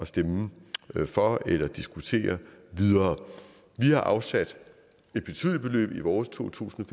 stemme for eller diskutere videre vi har afsat et betydeligt beløb i vores to tusind